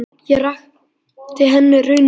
Ég rakti henni raunir mínar.